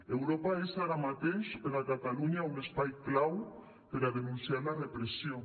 europa és ara mateix per a catalunya un espai clau per a denunciar la repressió